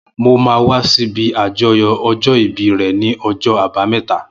Mó mà wà si ibi ájọyọ̀ ọjọ ibíí rè ni ọjọ àbàámẹ̀tá